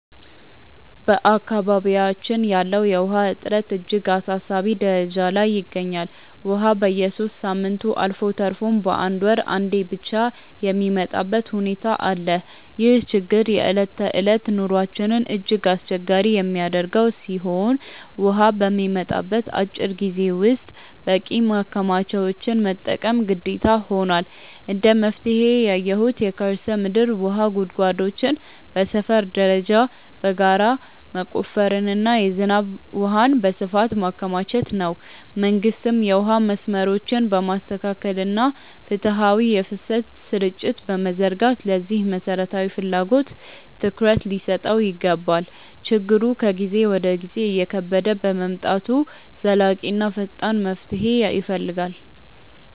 በአካባቢያችን ያለው የውሃ እጥረት እጅግ አሳሳቢ ደረጃ ላይ ይገኛል፤ ውሃ በየሦስት ሳምንቱ አልፎ ተርፎም በአንድ ወር አንዴ ብቻ የሚመጣበት ሁኔታ አለ። ይህ ችግር የዕለት ተዕለት ኑሯችንን እጅግ አስቸጋሪ የሚያደርገው ሲሆን፣ ውሃ በሚመጣበት አጭር ጊዜ ውስጥ በቂ ማከማቻዎችን መጠቀም ግዴታ ሆኗል። እንደ መፍትሄ ያየሁት የከርሰ ምድር ውሃ ጉድጓዶችን በሰፈር ደረጃ በጋራ መቆፈርና የዝናብ ውሃን በስፋት ማከማቸት ነው። መንግስትም የውሃ መስመሮችን በማስተካከልና ፍትሃዊ የፍሰት ስርጭት በመዘርጋት ለዚህ መሠረታዊ ፍላጎት ትኩረት ሊሰጠው ይገባል። ችግሩ ከጊዜ ወደ ጊዜ እየከበደ በመምጣቱ ዘላቂና ፈጣን መፍትሄ ይፈልጋል።